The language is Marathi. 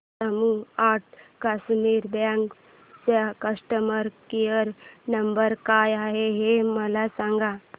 जम्मू अँड कश्मीर बँक चा कस्टमर केयर नंबर काय आहे हे मला सांगा